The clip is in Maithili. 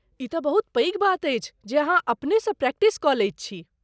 ई तँ बहुत पैघ बात अछि जे अहाँ अपनेसँ प्रैक्टिस कऽ लैत छी।